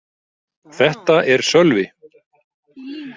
Þetta er Sölvi.